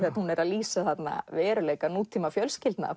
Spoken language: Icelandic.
hún er að lýsa þarna veruleika nútíma fjölskyldna